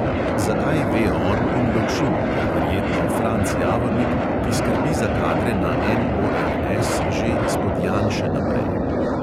Zakaj, ve on in lovšin ter verjetno franc javornik, ki skrbi za kadre na MORS že izpod janše naprej ...